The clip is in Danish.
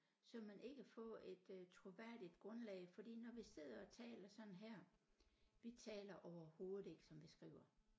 Så ville man ikke få et øh troværdigt grundlag fordi når vi sidder og taler sådan her vi taler overhovedet ikke som vi skriver